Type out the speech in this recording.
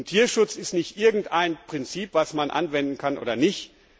Tierschutz ist nicht irgendein Prinzip, das man anwenden kann oder nicht.